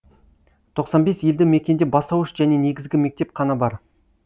тоқсан бес елді мекенде бастауыш және негізгі мектеп қана бар